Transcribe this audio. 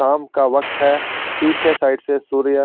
शाम का वक्त है पीछे साइड से सूर्या--